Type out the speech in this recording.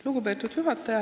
Lugupeetud juhataja!